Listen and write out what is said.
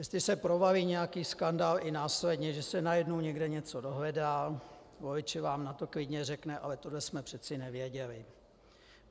Jestli se provalí nějaký skandál i následně, že se najednou někde něco dohledá, volič vám na to klidně řekne: Ale tohle jsme přeci nevěděli!